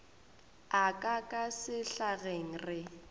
a ka ka sehlageng re